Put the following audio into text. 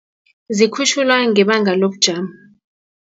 Zikhutjhulwa ngebanga lobujamo.